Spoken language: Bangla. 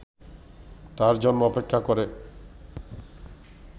তার জন্য অপেক্ষা করে